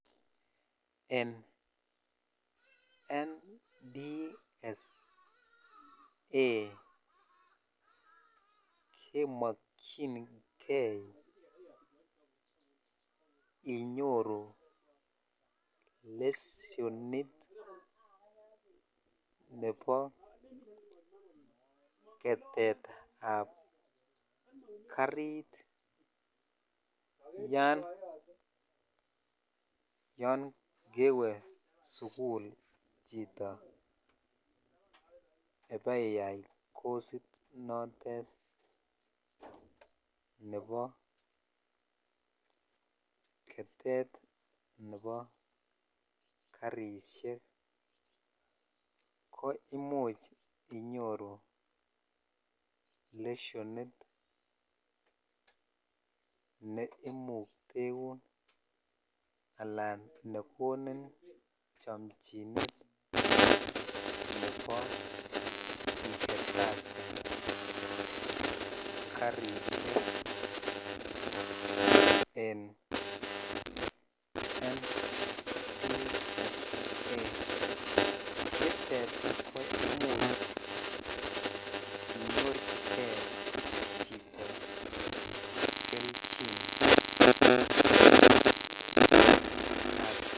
En NTSA kimokinge inyoru lesenit nebo ketet ab karit yan kewe sugul chito ibeiyai kost notet nebo kete nebo kariseik ko imuch inyoru lesenit ne imukteun anan ne konin chomchinet nebo iketate karishek en koimuch inyorjige chito kelchin